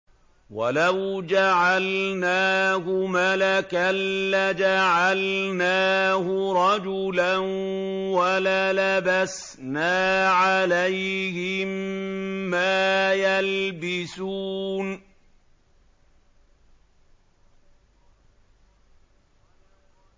وَلَوْ جَعَلْنَاهُ مَلَكًا لَّجَعَلْنَاهُ رَجُلًا وَلَلَبَسْنَا عَلَيْهِم مَّا يَلْبِسُونَ